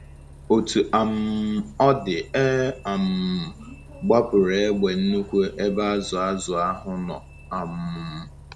Otú um ọ dị, e um gbapụrụ egbe nnukwu n’ebe azụ azụ ahụ nọ. um